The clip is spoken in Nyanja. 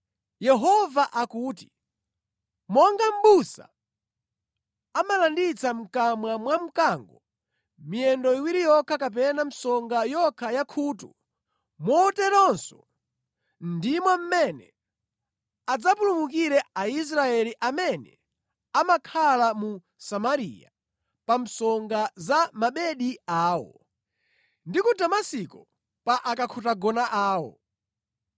Yehova akuti, “Monga mʼbusa amalanditsa mʼkamwa mwa mkango miyendo iwiri yokha kapena msonga yokha ya khutu, moteronso ndimo mmene adzapulumukire Aisraeli amene amakhala mu Samariya pa msonga za mabedi awo, ndi ku Damasiko pa akakhutagona awo.”